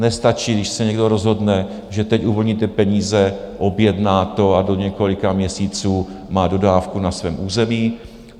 Nestačí, když se někdo rozhodne, že teď uvolníte peníze, objedná to a do několika měsíců má dodávku na svém území.